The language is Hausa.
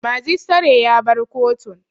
Majistare ya bar kotun